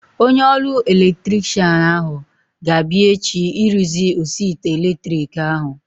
Onye ọrụ elektrikshan ahu ga-abịa echi ịrụzi osi ite elektriki ahu